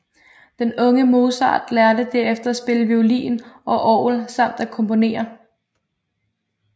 Den unge Mozart lærte derefter at spille violin og orgel samt at komponere